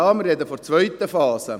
Wir sprechen von der zweiten Phase.